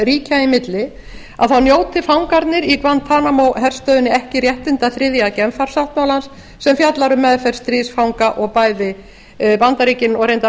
ríkja í milli að þá njóti fangarnir í guantanamo herstöðinni ekki réttinda þriðja genfarsáttmálans sem fjallar um meðferð stríðsfanga og bæði bandaríkin og reyndar